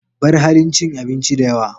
Bar halin cin abinci da yawa.